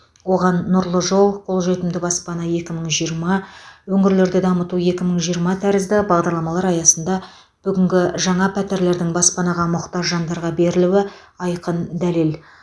оған нұрлы жол қолжетімді баспана екі мың жиырма өңірлерді дамыту екі мың жиырма тәрізді бағдарламалар аясында бүгінгі жаңа пәтерлердің баспанаға мұқтаж жандарға берілуі айқын дәлел